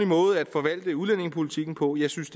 måde at forvalte udlændingepolitikken på jeg synes